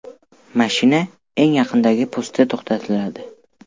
Mashina eng yaqindagi postda to‘xtatiladi.